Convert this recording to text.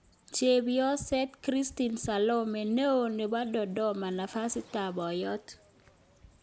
Chepyoso Christine Solomon neo nepo Dodoma nafasit ap Poiyot